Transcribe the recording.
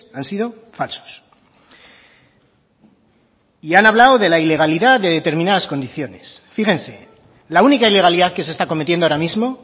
han sido falsos y han hablado de la ilegalidad de determinadas condiciones fíjense la única ilegalidad que se está cometiendo ahora mismo